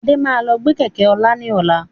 Adé máa lọ gbe Kẹ̀kẹ́ ọlá ni ọ̀la.